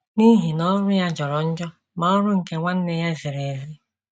“ N’ihi na ọrụ ya jọrọ njọ, ma ọrụ nke nwanne ya ziri ezi. ”